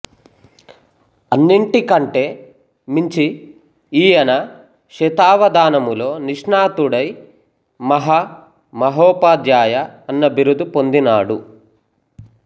అన్నింటి కంటే మించి ఈయన శతావధానములో నిష్ణాతుడై మహా మహోపాధ్యాయ అన్న బిరుదు పొందినాడు